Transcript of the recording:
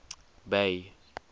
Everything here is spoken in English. bay